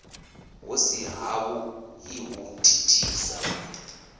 hu si havhuḓi hu thithisa